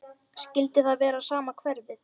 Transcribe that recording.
Skyldi það vera sama hverfið?